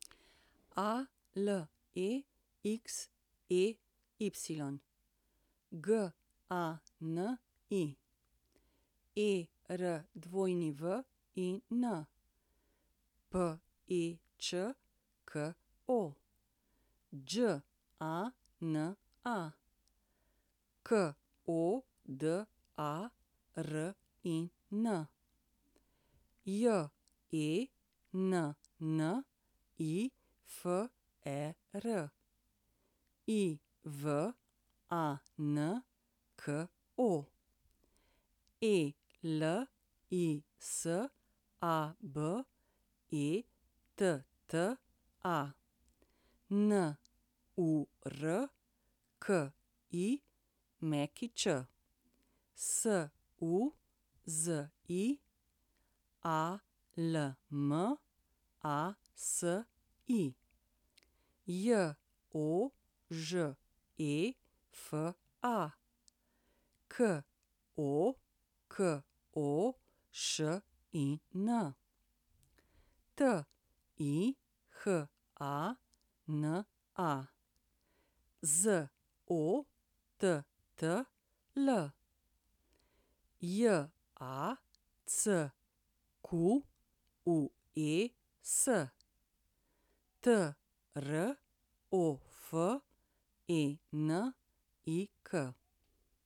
Alexey Gani, Erwin Pečko, Đana Kodarin, Jennifer Ivanko, Elisabetta Nurkić, Suzi Almasi, Jožefa Kokošin, Tihana Zottl, Jacques Trofenik.